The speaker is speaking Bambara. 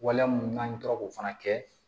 Waleya mun n'an tora k'o fana kɛ